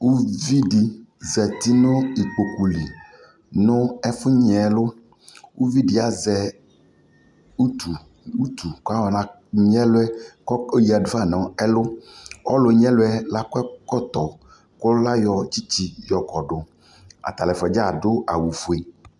Uvi dι zati nʋ ikpoku lι nʋ ɛfʋ nyɛlʋ Uvi dιazɛ utu, utu kʋ ayɔ nanyɛlʋɛ kʋ ayoya du fa nʋ ɛlʋ Ɔlʋ nyɛlʋ yɛ lakɔ ɛkɔtɔ kʋ layɔ tsitsi yɔ kɔdʋ Atala ɛfua dza adʋ awu fue